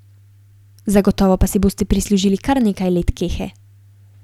Zagotovo pa si boste prislužili kar nekaj let kehe.